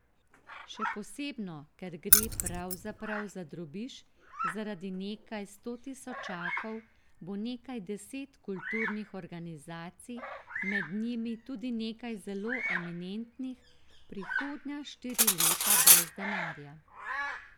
Še posebno ker gre pravzaprav za drobiž, zaradi nekaj sto tisočakov bo nekaj deset kulturnih organizacij, med njimi tudi nekaj zelo eminentnih, prihodnja štiri leta brez denarja.